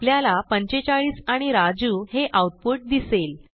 आपल्याला 45 आणि राजू हे आऊटपुट दिसेल